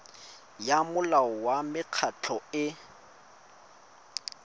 ya molao wa mekgatlho e